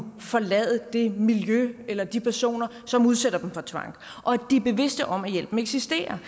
forlade det miljø eller de personer som udsætter dem for tvang og at de er bevidste om at hjælpen eksisterer